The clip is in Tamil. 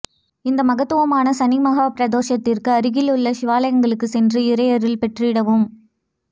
இந்த மகத்துவமான சனி மகா பிரதோஷத்திற்கு அருகில் உள்ள சிவாலயங்களுக்கு சென்று இறையருள் பெற்றிடவும்